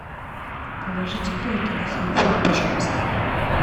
положите деньги на телефон пожалуйста